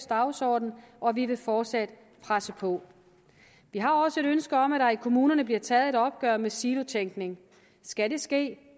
dagsorden og vi vil fortsat presse på vi har også et ønske om at der i kommunerne bliver taget et opgør med silotænkning skal det ske